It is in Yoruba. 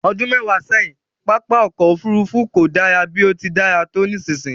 Ọdún mẹwa sẹ́yìn, pápá ọkọ̀ Òfurufú kò dára bí ó ti dára tó nísinsìnyí